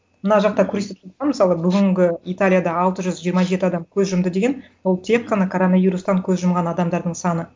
мына жақта мысалы бүгінгі италияда алты жүз жиырма жеті адам көз жұмды деген ол тек қана коронавирустан көз жұмған адамдардың саны